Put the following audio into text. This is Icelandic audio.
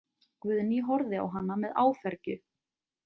Guðný horfði á hana með áfergju.